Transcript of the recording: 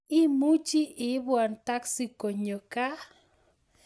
Imuchi ibwan taksi konyo gaa